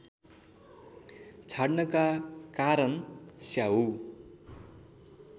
छाड्नका कारण स्याउ